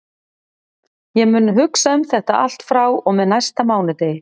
Ég mun hugsa um þetta allt frá og með næsta mánudegi.